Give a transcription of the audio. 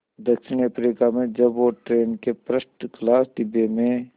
दक्षिण अफ्रीका में जब वो ट्रेन के फर्स्ट क्लास डिब्बे में